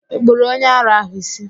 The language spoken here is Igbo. Ị kpụrụ onye ara ahụ ísí?